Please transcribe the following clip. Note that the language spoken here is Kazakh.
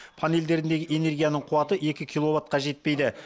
панельдерінде энергияның қуаты екі киловатқа жетпейді